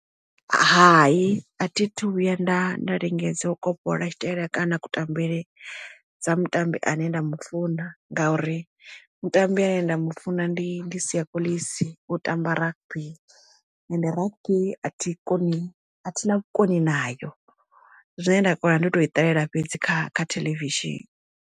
Hai a thi thu vhuya nda nda lingedza u kopolola tshitaila kana kutambele dza mutambi ane nda mu funa ngauri mutambi ane nda mu funa ndi ndi Siya Kolisi u tamba rugby ende rugby a thi koni a thi na vhukoni nayo zwine nda kona ndi to i ṱalela fhedzi kha kha theḽevishini.